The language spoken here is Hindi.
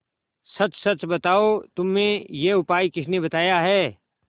सच सच बताओ तुम्हें यह उपाय किसने बताया है